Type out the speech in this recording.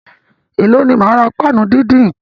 Èló ni máa ra páànù díndín nǹkan?